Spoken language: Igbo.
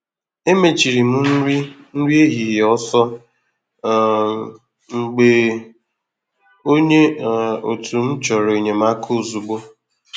E mechiri m nri nri ehihie ọsọ um m mgbe onye um òtù m chọrọ enyemaka ozugbo